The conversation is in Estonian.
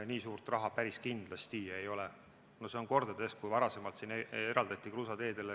No see on kordades rohkem, kui varasemalt siin eraldati kruusateedele.